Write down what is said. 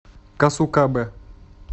касукабе